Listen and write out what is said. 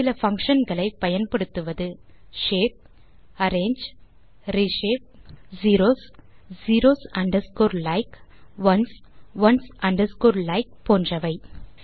சில பங்ஷன் களை பயன்படுத்துவது shape arrange reshape zeros amp zeros underscore like ones amp ones underscore like போன்றவை